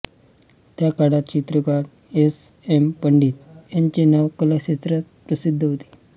त्या काळात चित्रकार एस एम पंडित यांचे नाव कलाक्षेत्रात प्रसिद्ध होते